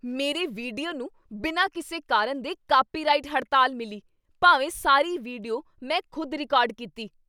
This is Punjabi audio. ਮੇਰੇ ਵੀਡੀਓ ਨੂੰ ਬਿਨਾਂ ਕਿਸੇ ਕਾਰਨ ਦੇ ਕਾਪੀਰਾਈਟ ਹੜਤਾਲ ਮਿਲੀ। ਭਾਵੇਂ ਸਾਰੀ ਵੀਡੀਓ ਮੈਂ ਖ਼ੁਦ ਰਿਕਾਰਡ ਕੀਤੀ।